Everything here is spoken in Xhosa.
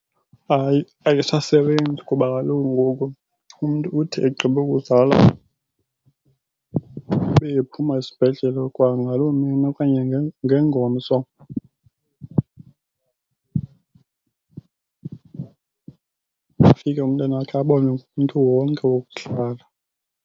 Hayi ayisasebenzi kuba kaloku ngoku umntu uthi egqiba ukuzala abe ephuma esibhedlele kwangaloo mini okanye ngengomso. Ufike umntanakhe abonwe ngumntu wonke wokuhlala.